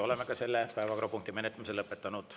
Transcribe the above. Oleme ka selle päevakorrapunkti menetlemise lõpetanud.